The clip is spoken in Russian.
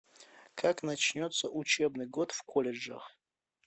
как начнется учебный год в колледжах